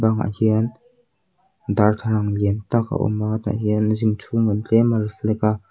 bangah hian darthla lang lian tak a awm a tah hian gym chhung lam tlem a en a.